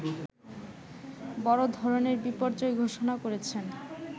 বড়ধরনের বিপর্যয় ঘোষণা করেছেন